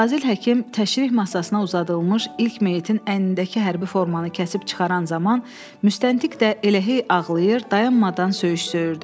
Fazil Həkim təşrih masasına uzadılmış ilk meyitin əynindəki hərbi formanı kəsib çıxaran zaman, müstəntiq də elə hey ağlayır, dayanmadan söyüş söyürdü.